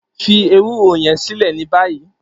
Fi ewuro yẹn silẹ ni bayi!